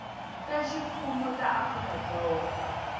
ta ximfumo ta afrika dzonga